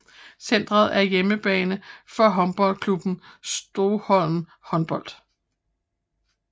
Centret er hjemmebane for håndboldklubben Stoholm Håndbold